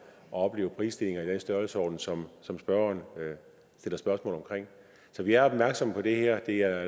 opleve prisstigninger i den størrelsesorden som som spørgeren stiller spørgsmål om så vi er opmærksomme på det her det er